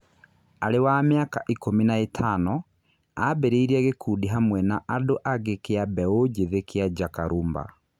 Arĩ wa mĩaka ikũmi na ĩtano, ambĩrĩirie gĩkundi hamwe na andũ angĩ kĩa mbeu njithi kĩa Njaka Rumba.